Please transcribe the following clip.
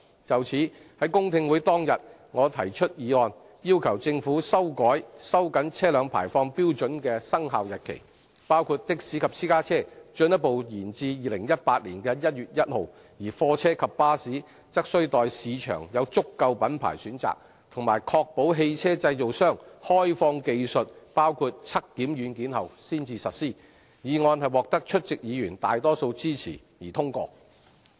就此，在公聽會當日，我提出議案，要求政府修改收緊車輛排放標準的生效日期，包括的士及私家車進一步延至2018年1月1日，而貨車及巴士則須待市場有足夠品牌選擇及確保汽車製造商開放技術包括測檢軟件後才實施，議案獲得出席議員大多數支持而通過。